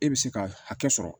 E bɛ se ka hakɛ sɔrɔ